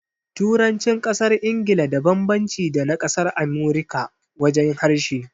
Turancin ƙasar Ingila da banbanci da na ƙasar Amurika wajen harshe